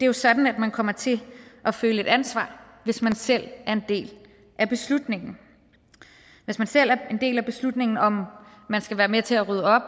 jo sådan at man kommer til at føle et ansvar hvis man selv er en del af beslutningen hvis man selv er en del af beslutningen om at man skal være med til at rydde op